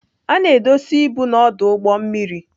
A na-edozi ibu na ọdụ ụgbọ mmiri.